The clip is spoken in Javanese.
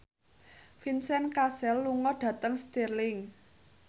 Vincent Cassel lunga dhateng Stirling